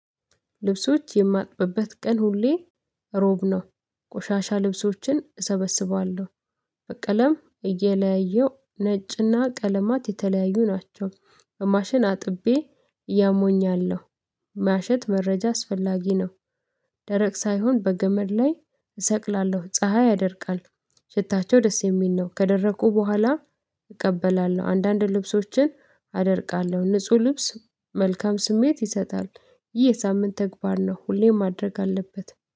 ልብሶች የማጥበበት ቀን ሁሌ ሮብ ነው። ቆሻሻ ልብሶችን እሰበስባለሁ በቀለም እየለያየው ነጭና ቀለማት የተለያዩ ናቸው። ማሽን አጥቤ ያሞኛለሁ ማሸት መረጃ አስፈላጊ ነው። ደረቅ ሳይሆን በገመድ ላይ እሰቅላለሁ ፀሀይ ያደርቃል። ሽታቸው ደስ የሚል ነው። ከደረቁ በኋላ እቀበላለሁ። አንዳንድ ልብሶችን አደርቃለሁ ንጹህ ልብስ መልካም ስሜት ይሰጣል። ይህ የሳምንት ተግባር ነው። ሁሌም ማድረግ አለበት